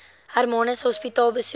hermanus hospitaal besoek